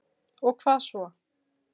Og hvað svo?